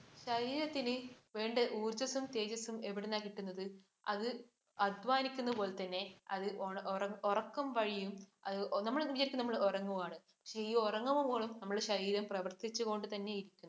ശരീരത്തിന് വേണ്ട ഊർജസും തേജസും എവിടുന്നാ കിട്ടുന്നത്? അത് അധ്വാനിക്കുന്ന പോലെ തന്നെ അത് ഉറക്കം വഴിയും നമ്മള് വിചാരിക്കും നമ്മൾ ഉറങ്ങുവാണ്. പക്ഷെ ഈ ഉറങ്ങുമ്പോൾ പോലും നമ്മുടെ ശരീരം പ്രവർത്തിച്ചു കൊണ്ട് തന്നെ ഇരിക്കും